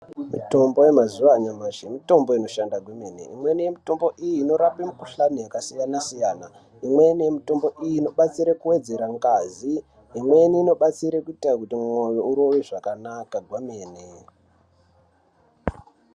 Mitombo yemazuwanyamashe, mitombo inoshanda kwemene. Imweni mitombo iyi inorape mikhuhlane yakasiyana siyana. Imweni yemitombo iyi inobatsira kuwedzera ngazi, imweni inobatsira kuit kuti moyo urove zvakanaka kwemene.